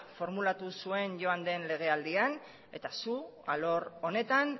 formulatu joan den legealdian eta zuk alor honetan